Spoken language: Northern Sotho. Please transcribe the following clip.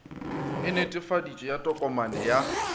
e netefaditšwego ya tokomane ya